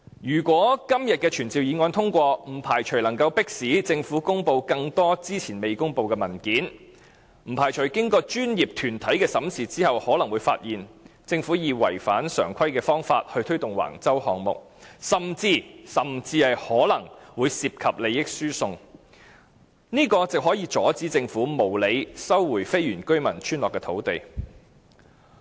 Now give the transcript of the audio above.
如果今天的傳召議案獲得通過，不排除可以迫使政府公布更多之前未公布的文件，不排除經過專業團體的審視後，可能會發現政府以違反常規的方法推動橫洲項目，甚至可能會涉及利益輸送，這樣可以阻止政府無理收回非原居民村落的土地。